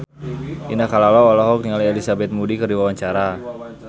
Indah Kalalo olohok ningali Elizabeth Moody keur diwawancara